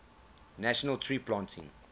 national tree planting